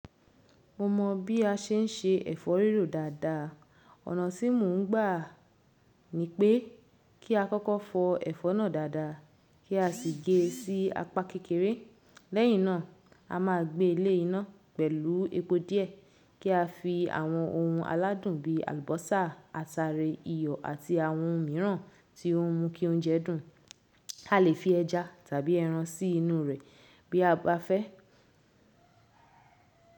Mo mọ bi a se n ṣe ẹfọ rírò dáadáa. Ọ̀nà tí mò ń gbà ni pé kí a kọ́kọ́ fọ ẹfọ náà dáadáa, kí a sì gé e sí apá kékeré. Lẹ́yìn náà, a máa gbé e lé iná pẹ̀lú epo díẹ̀ kí a fi àwọn ohun aládùn bíi àlùbọ́sà, ataare, iyọ̀ àti àwọn ohun mìíràn tí ó ń mú kí oúnjẹ dùn. A lè fi ẹja tàbí ẹran sí inú rẹ̀ bí a bá fẹ́.